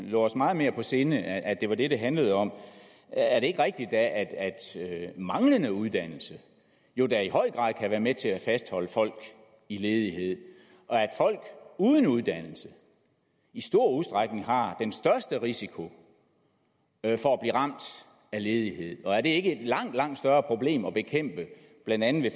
lå os meget mere på sinde og at det var det det handlede om er det ikke rigtigt at manglende uddannelse jo da i høj grad kan være med til at fastholde folk i ledighed og at folk uden uddannelse i stor udstrækning har den største risiko for at blive ramt af ledighed og er det ikke et langt langt større problem at bekæmpe blandt andet